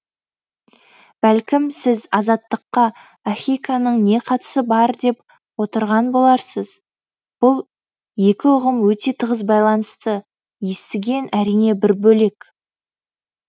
бәлкім сіз азаттыққа ахиконың не қатысы бар деп отырған отырған боларсыз бұл екі ұғым өте тығыз байланысты естіген әрине бір бөлек